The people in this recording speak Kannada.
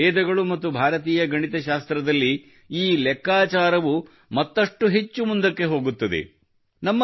ಆದರೆ ವೇದಗಳು ಮತ್ತು ಭಾರತೀಯ ಗಣಿತಶಾಸ್ತ್ರದಲ್ಲಿ ಈ ಲೆಕ್ಕಾಚಾರವು ಮತ್ತಷ್ಟು ಹೆಚ್ಚು ಮುಂದಕ್ಕೆ ಹೋಗುತ್ತದೆ